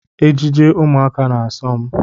Ejeje ụmụaka na-asom